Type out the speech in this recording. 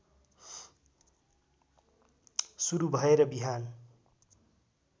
सुरु भएर बिहान